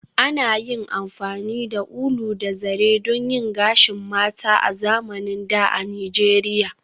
An yi amfani da ulu da zare don yin gashin mata a zamanin da a Nijeriya